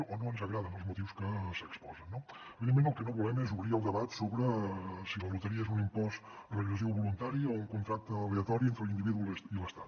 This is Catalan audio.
o no ens agraden els motius que s’hi exposen no evidentment el que no volem és obrir el debat sobre si la loteria és un impost regressiu voluntari o un contracte aleatori entre l’individu i l’estat